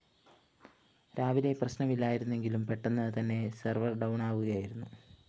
രാവിലെ പ്രശ്നമില്ലായിരുന്നെങ്കിലും പെട്ടെന്ന് തന്നെ സെർവർ ഡൗണാകുകയായിരുന്നു